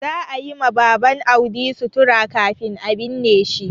Za a yi ma Baban Audi sutura kafin a binne shi.